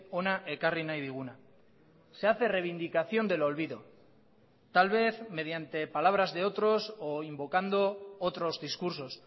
hona ekarri nahi diguna se hace reivindicación del olvido tal vez mediante palabras de otros o invocando otros discursos